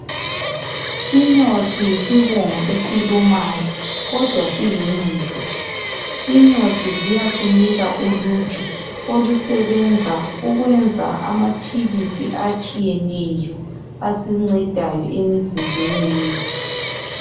Inyosi yisibungu esilumayo kodwa siluncedo. Inyosi ziyasinika uluju olusebenza ukwenza amaphilisi atshiyeneyo asincedayo emzimbeni yethu.